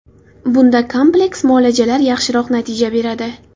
Bunda kompleks muolajalar yaxshiroq natija beradi.